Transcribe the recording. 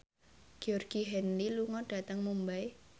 Georgie Henley lunga dhateng Mumbai